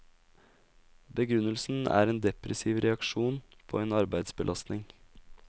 Begrunnelsen er en depressiv reaksjon på en arbeidsbelastning.